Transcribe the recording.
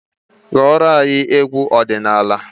Gụọra anyị egwu ọdịnala!